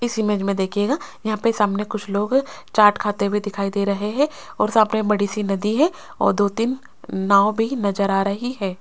इस इमेज में देखिएगा यहां पे सामने कुछ लोग चाट खाते हुए दिखाई दे रहे है और सामने बड़ी सी नदी है और दो तीन नाव भी नजर आ रही है।